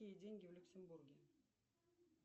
какие деньги в люксембурге